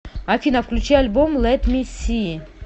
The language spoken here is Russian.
афина включи альбом лет ми си